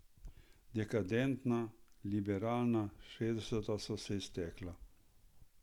Dekadentna, liberalna šestdeseta so se iztekala.